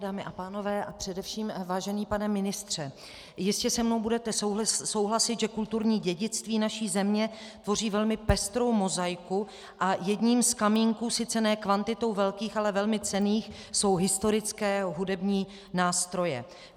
Dámy a pánové a především vážený pane ministře, jistě se mnou budete souhlasit, že kulturní dědictví naší země tvoří velmi pestrou mozaiku a jedním z kamínků sice ne kvantitou velkých, ale velmi cenných jsou historické hudební nástroje.